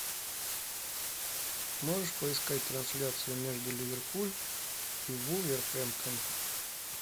можешь поискать трансляцию между ливерпуль и вулверхэмптон